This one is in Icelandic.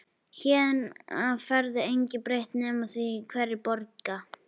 Héðan af verður engu breytt nema því hverjir borga.